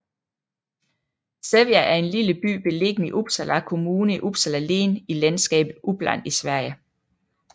Sävja er en lille by beliggende i Uppsala Kommune i Uppsala län i landskabet Uppland i Sverige